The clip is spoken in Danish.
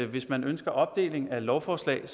hvis man ønsker opdeling af lovforslag